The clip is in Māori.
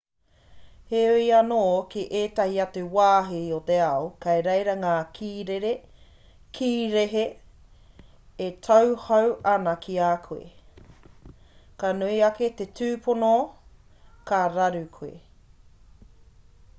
heoi anō ki ētahi atu wāhi o te ao kei reira ngā kīrehe e tauhou ana ki a koe ka nui ake te tupono ka raru koe